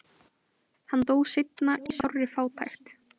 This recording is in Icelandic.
hann dó seinna í sárri fátækt